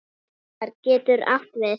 Pálmar getur átt við